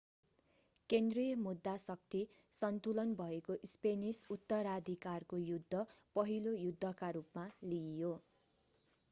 केन्द्रीय मुद्दा शक्ति सन्तुलन भएको स्पेनिस उत्तराधिकारको युद्ध पहिलो युद्धका रूपमा लिइयो